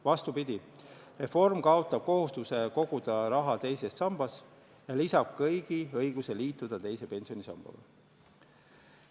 Vastupidi, reform kaotab kohustuse koguda raha teises sambas ja lisab kõigi õiguse liituda teise pensionisambaga.